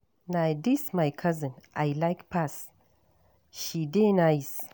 Na dis my cousin I like pass, she dey nice.